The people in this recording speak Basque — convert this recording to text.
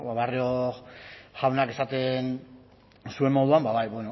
barrio jaunak esaten zuen moduan ba bai